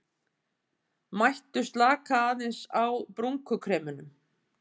Mættu slaka aðeins á brúnkukremunum